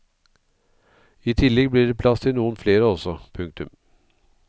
I tillegg blir det plass til noen flere også. punktum